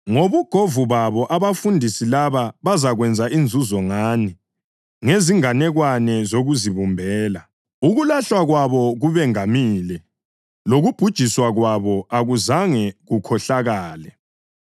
Ngobugovu babo abafundisi laba bazakwenza inzuzo ngani ngezinganekwane zokuzibumbela. Ukulahlwa kwabo kubengamile, lokubhujiswa kwabo akuzange kukhohlakale.